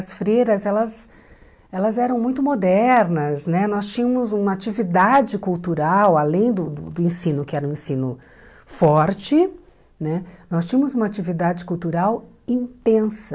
As freiras elas elas eram muito modernas né, nós tínhamos uma atividade cultural, além do do do ensino que era um ensino forte né, nós tínhamos uma atividade cultural intensa.